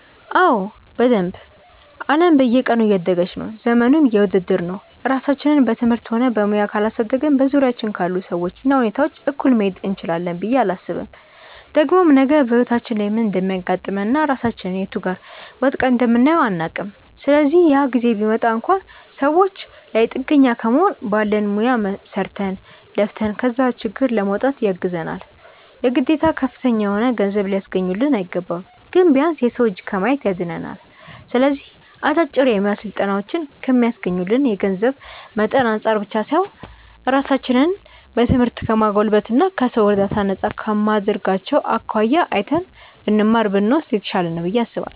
አዎ በደንብ። አለም በየቀኑ እያደገች ነው፤ ዘመኑም የውድድር ነው። ራሳችንን በትምህርትም ሆነ በሙያ ካላሳደግን በዙሪያችን ካሉ ሰዎች እና ሁኔታዎች እኩል መሄድ እንችላለን ብዬ አላስብም። ደግሞም ነገ በህይወታችን ላይ ምን እንደሚያጋጥመን እና ራሳችንን የቱ ጋር ወድቀን እንደምናየው አናውቅም። ስለዚህ ያ ጊዜ ቢመጣ እንኳን ሰዎች ላይ ጥገኛ ከመሆን ባለን ሙያ ሰርተን፣ ለፍተን ከዛ ችግር ለመውጣት ያግዘናል። የግዴታ ከፍተኛ የሆነ ገንዘብ ሊያስገኙልን አይገባም። ግን ቢያንስ የሰው እጅ ከማየት ያድነናል። ስለዚህ አጫጭር የሙያ ስልጠናዎችን ከሚስገኙልን የገንዘብ መጠን አንፃር ብቻ ሳይሆን ራሳችንን በትምህርት ከማጎልበት እና ከሰው እርዳታ ነፃ ከማድረጋቸው አኳያ አይተን ብንማር (ብንወስድ) የተሻለ ነው ብዬ አስባለሁ።